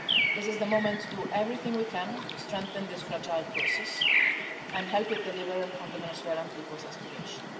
This is the moment to do everything we can to strengthen this fragile process and help it deliver on the Venezuelan people's aspirations.